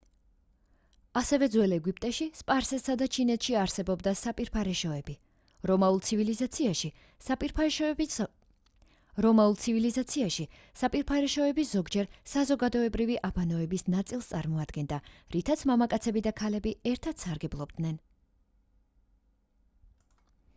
ასევე ძველ ეგვიპტეში სპარსეთსა და ჩინეთში არსებობდა საპირფარეშოები რომაულ ცივილიზაციაში საპირფარეშოები ზოგჯერ საზოგადოებრივი აბანოების ნაწილს წარმოადგენდა რითაც მამაკაცები და ქალები ერთად სარგებლობდნენ